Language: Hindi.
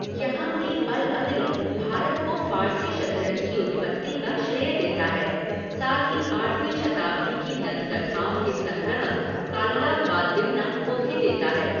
यहाँ भी अल अदली भारत को फ़ारसी शतरंज की उत्पत्ति का श्रेय देता है, साथ ही आठवीं शताब्दी की दंतकथाओं के संग्रह कालला वा दिमना को भी देता है।